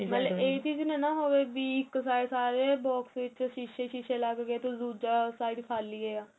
ਮਤਲਬ ਇਹ ਚੀਜ ਨਾ ਹੋਵੇ ਵੀ ਇੱਕ side ਸਾਰੇ box ਵਿੱਚ ਸ਼ੀਸੇ ਸ਼ੀਸੇ ਲੱਗ ਗਏ ਤੇ ਦੁੱਜਾ side ਖ਼ਾਲੀ ਏਹ